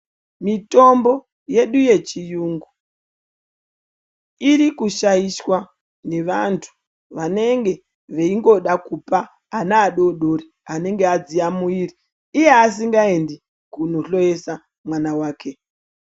Mitombo yedu yechiyungu iri kushaishwa nevantu vanenge veingoda kupa ana adori dori anenge adziya muiri iye asingaendi kunohloyesa mwana wake.